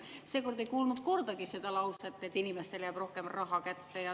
Seekord ei kuulnud kordagi seda lauset, et inimestele jääb rohkem raha kätte.